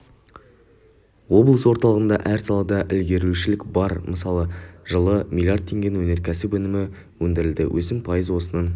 облыс орталығында әр салада ілгерілеушілік бар мысалы жылы млрд теңгенің өнеркәсіп өнімі өндірілді өсім пайыз осының